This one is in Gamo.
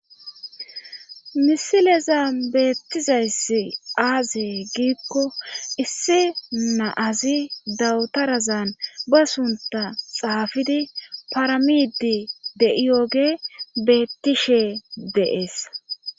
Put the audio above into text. misileza beettizayssi aazey giikko isse naazi dawutarazan ba sunta xaafidi paramidi de7iyoge beettishe deees